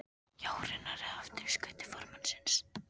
Jórunnar, eða aftur í skut til formannsins.